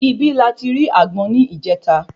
Ibí la ti ri àgbọn ni ìjeta